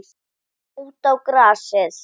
Ganga út á grasið.